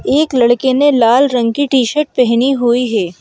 एक लड़के ने लाल रंग की टी-शर्ट पहनी हुई है।